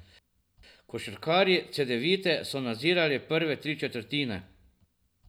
Košarkarji Cedevite so nadzirali prve tri četrtine.